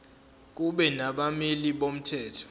kube nabameli bomthetho